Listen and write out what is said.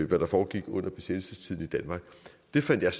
hvad der foregik under besættelsestiden i danmark det fandt jeg